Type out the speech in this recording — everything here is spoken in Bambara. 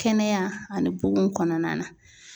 Kɛnɛya ani bugun kɔnɔna na.